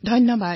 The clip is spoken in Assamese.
ধন্যবাদ